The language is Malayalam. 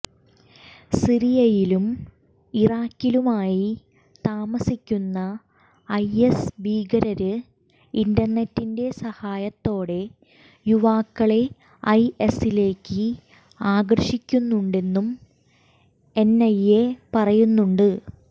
സിറിയയിലും ഇറാഖിലുമായി താമസിക്കുന്ന ഐഎസ് ഭീകരര് ഇന്റര്നെറ്റിന്റെ സഹായത്തോടെ യുവാക്കളെ ഐഎസിലേക്ക് ആകര്ഷിക്കുന്നുണ്ടെന്നും എന്ഐഎ പറയുന്നുണ്ട്